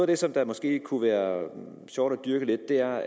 det som det måske kunne være sjovt at dyrke lidt er